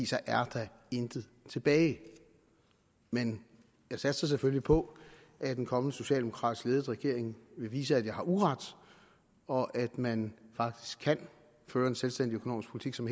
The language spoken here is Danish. så er der intet tilbage men jeg satser selvfølgelig på at en kommende socialdemokratisk ledet regering vil vise at jeg har uret og at man faktisk kan føre en selvstændig økonomisk politik som